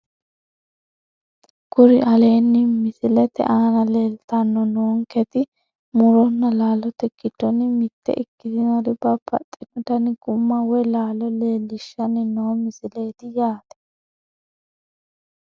Kuri alenni misiete aana leeltanni noonketi muronna laalote giddonni mitte ikkitinori babbaxxino dani gumma woyi laalo leellishshanni noo misileeti yaate